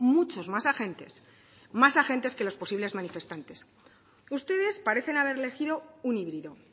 muchos más agentes más agentes que los posibles manifestantes ustedes parecen haber elegido un híbrido